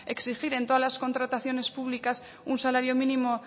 exigir en todas las contrataciones públicas un salario mínimo